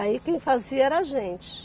Aí quem fazia era a gente.